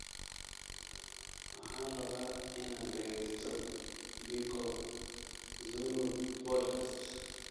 waxaan rabaa inaan dhageysto biko zulu podcast